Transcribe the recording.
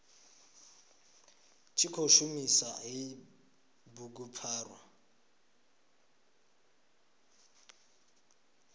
tshi khou shumisa hei bugupfarwa